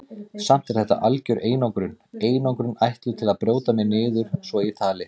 Samt er þetta algjör einangrun, einangrun ætluð til að brjóta mig niður svo ég tali.